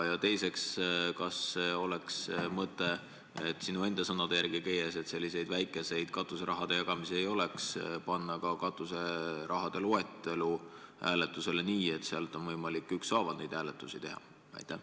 Teiseks, kas oleks mõtet – sinu enda sõnade järgi käies, et selliseid väikeseid katuseraha jagamisi ei oleks – panna ka katuseraha loetelu hääletusele nii, et oleks võimalik ükshaaval neid hääletusi teha?